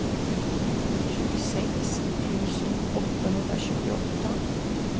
tjugosex tusen åttahundratjugoåtta